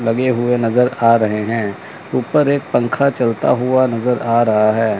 लगे हुए नजर आ रहे हैं ऊपर एक पंखा चलता हुआ नजर आ रहा है।